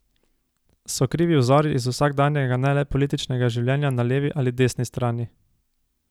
So krivi vzori iz vsakdanjega ne le političnega življenja na levi ali desni strani?